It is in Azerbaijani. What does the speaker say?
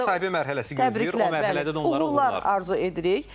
İndi onları müsahibə mərhələsi gözləyir, o mərhələdə də onlara uğurlar arzu edirik.